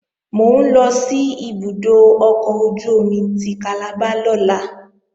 Mò ń lọ sí ibùdó ọkọ̀ ojú-omi ti Calabar lọ́la